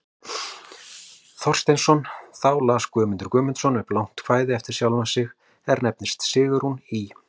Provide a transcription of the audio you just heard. Thorsteinsson, þá las Guðmundur Guðmundsson upp langt kvæði eftir sjálfan sig, er nefnist Sigrún í